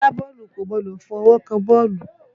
Agbaọ́ọ̀lù kò gbọdọ̀ fọwọ́ kan bọ́ọ̀lù.